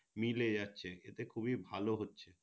মিলে যাচ্ছে এটা খুবই ভালো হচ্ছে